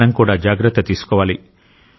మనం కూడా జాగ్రత్త తీసుకోవాలి